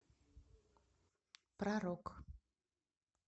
про рок